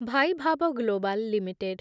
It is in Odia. Vaibhav Global limited